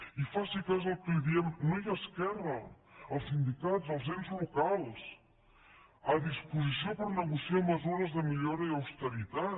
i faci cas al que li diem no ja esquerra els sindicats els ens locals a disposició per negociar mesures de millora i austeritat